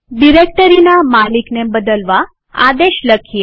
ડિરેક્ટરીના માલિકને બદલવા આદેશ લખીએ